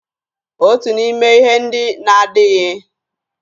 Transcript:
Otu n'ime ihe ndị na-adaghị egbu oge osisi bụ mmịrị.